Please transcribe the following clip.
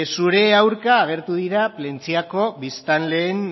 zure aurka agertu dira plentziako biztanleen